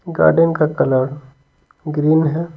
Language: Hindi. गार्डन का कलर ग्रीन है।